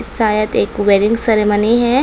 शायद एक wedding ceremony है।